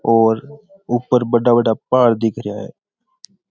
और उपर बड़ा बड़ा पहाड़ दिखा रहा है।